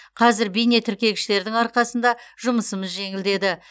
қазір бейнетіркегіштердің арқасында жұмысымыз жеңілдеді